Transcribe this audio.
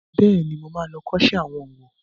Bẹ́ẹ̀ni, mo ma lọ kọ́ṣẹ́ owó